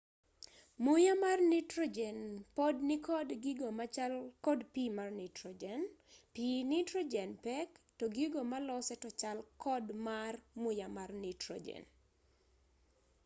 muya mar nitrojen pod nikod gigo machal kod pii mar nitrojen pii nitrojen pek to gigo malose to chal kod mar muya mar nitrojen